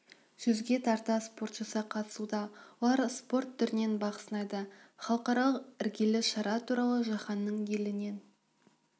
жүзге тарта спортшысы қатысуда олар спорт түрінен бақ сынайды халықаралық іргелі шара туралы жаһанның елінен